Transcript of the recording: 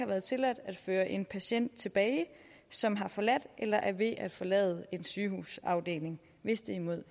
været tilladt at føre en patient tilbage som har forladt eller er ved at forlade en sygehusafdeling hvis det er imod